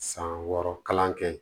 San wɔɔrɔ kalan kɛ